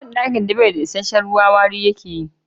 Duk bandakin da ba isasshen ruwa wari yake yi.